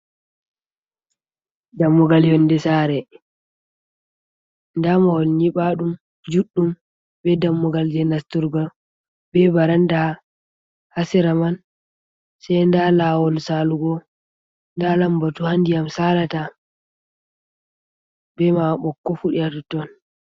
Dammugal yonde sare, nda mahol nyiɓa ɗum juɗɗum be dammugal je nasturgo, be baranda ha sera man, sei nda lawol salugo, nda lambatu ha ndiyam salata be ma ɓokko fuɗi ha toton.